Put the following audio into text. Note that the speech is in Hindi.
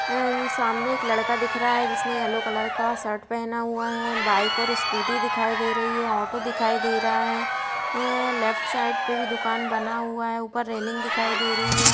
एंड सामने एक लड़का दिख रहा है जिसने येलो कलर का शर्ट पहना हुआ है बाइक और स्कूटी दिखाई दे रही है ऑटो दिखाई दे रहा है ए लेफ्ट साइड पे भी दुकान बना हुआ है ऊपर रेल्लिंग दिखाई दे रही है।